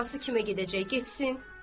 Anası kimə gedəcək, getsin.